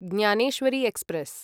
Dnyaneshwari express